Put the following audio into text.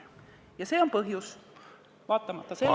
Ja see on põhjus, vaatamata sellele ...